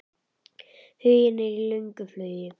Huginn er í löngu flugi.